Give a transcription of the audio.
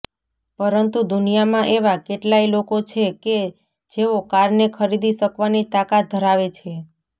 પરંતુ દુનિયામાં એવા કેટલાય લોકો છે કે જેઓ કારને ખરીદી શકવાની તાકાત ધરાવે છે